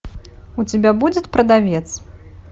у тебя будет продавец